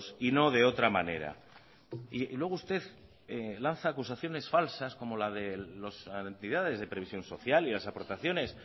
y no de otra manera luego usted lanza acusaciones falsas como la de las entidades de previsión social y las aportaciones